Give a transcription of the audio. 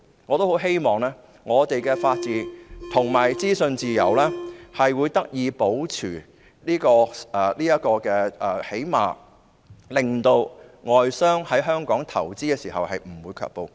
我很希望本港的法治和資訊自由得以保持，至少令外商不會對在香港投資卻步。